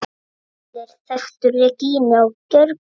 Allir þekktu Regínu á Gjögri.